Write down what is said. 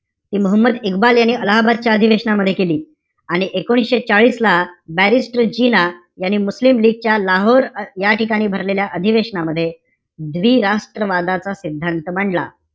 ते मोहम्मद इक्बाल यांनी अलाहाबादच्या अधिवेशनामध्ये केली. आणि एकोणीशे चाळीसला barristor जिना यांनी मुस्लिम लीगच्या लाहोर या ठिकाणी भरलेल्या अधिवेशनामध्ये द्विराष्ट्र वादाचा सिद्धांत मांडला.